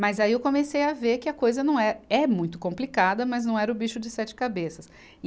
Mas aí eu comecei a ver que a coisa não é, é muito complicada, mas não era o bicho de sete cabeças. e